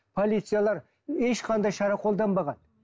полициялар ешқандай шара қолданбаған